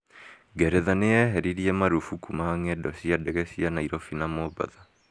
Ngeretha nĩ yeherirĩe marũfukũ ma ngendo cia ndege cia Nairobi na Mombasa.